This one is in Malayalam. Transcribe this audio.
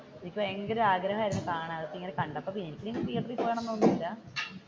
എനിക്ക് ഭയങ്കര ആഗ്രഹമായിരുന്നു കാണാൻ കണ്ടപ്പോൾ